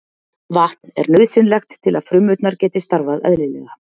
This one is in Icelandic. Vatn er nauðsynlegt til að frumurnar geti starfað eðlilega.